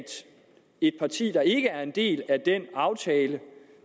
et parti der ikke er en del af den aftale